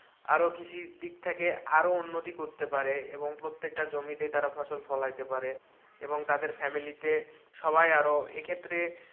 আরো কৃষি দিক থেকে আরো উন্নতি করতে পারে এবং প্রত্যেকটা জমিতে তারা জমি ফসল ফলাইতে পারে এবং তাদের family তে সবাই আরো ক্ষেত্রে,